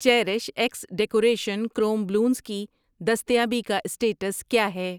Cherish x decoration chrome balloons کی دستیابی کا سٹیٹس کیا ہے؟